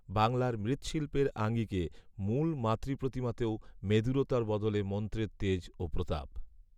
বাংলার মৃ্ৎশিল্পের আঙিকে মূল মাতৃপ্রতিমাতেও মেদুরতার বদলে মন্ত্রের তেজ ও প্রতাপ